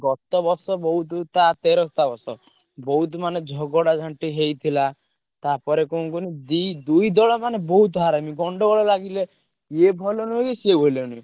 ଗତ ବର୍ଷ ବୋହୁତ ମାନେ ଝଗଡା ଝାଣ୍ଟି ହେଇଥିଲା ତାପରେ କଣ କୁହନି ଦି ଦୁଇ ଦଳ ମାନେ ବୋହୁତ ହରାମି ଗଣ୍ଡଗୋଳ ଲାଗିଲେ ୟେ ଭଲ ନୁହଁ କି ସିଏ ଭଲ ନୁହଁ।